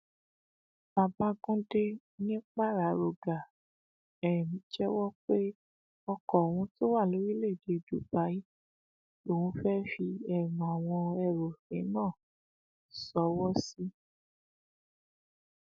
ìwádìí sì ń tẹsíwájú lórí ọ̀rọ̀ yìí